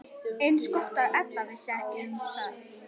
Eins gott að Edda vissi ekki um það boð.